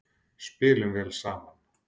Spilum vel saman.